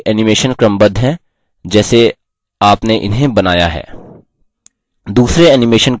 ध्यान दें कि सूची के animation क्रमबद्ध हैं जैसे आपने इन्हें बनाया है